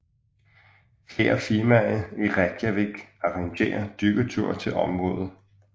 Flere firmaer i Reykjavik arrangerer dykkerture til området